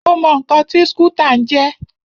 Mo mọ ǹkan tí skútà ń jẹ́.